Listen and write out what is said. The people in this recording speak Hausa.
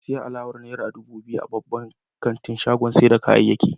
Na sayi alawar naira dubu biyu a babban kantin sayar da kayayyaki.